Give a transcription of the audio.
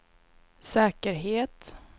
säkerhet